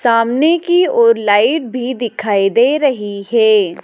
सामने की ओर लाइट भी दिखाई दे रही है।